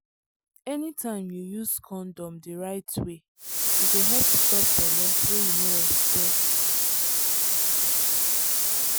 anytime you use condom the right way e go help stop belle wey you no expect.